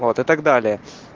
вот и так далее